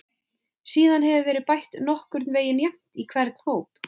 Síðan hefur verið bætt nokkurn veginn jafnt í hvern hóp.